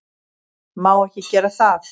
Má ekki gera það.